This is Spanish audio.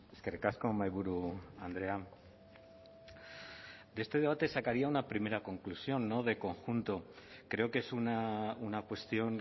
eskerrik asko mahaiburu andrea de este debate sacaría una primera conclusión de conjunto creo que es una cuestión